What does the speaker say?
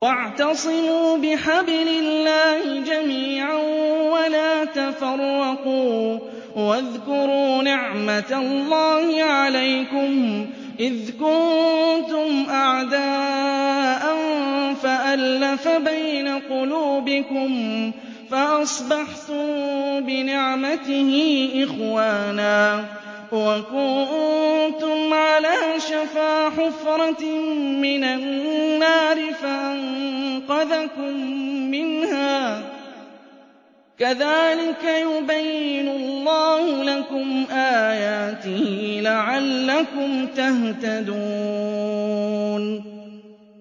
وَاعْتَصِمُوا بِحَبْلِ اللَّهِ جَمِيعًا وَلَا تَفَرَّقُوا ۚ وَاذْكُرُوا نِعْمَتَ اللَّهِ عَلَيْكُمْ إِذْ كُنتُمْ أَعْدَاءً فَأَلَّفَ بَيْنَ قُلُوبِكُمْ فَأَصْبَحْتُم بِنِعْمَتِهِ إِخْوَانًا وَكُنتُمْ عَلَىٰ شَفَا حُفْرَةٍ مِّنَ النَّارِ فَأَنقَذَكُم مِّنْهَا ۗ كَذَٰلِكَ يُبَيِّنُ اللَّهُ لَكُمْ آيَاتِهِ لَعَلَّكُمْ تَهْتَدُونَ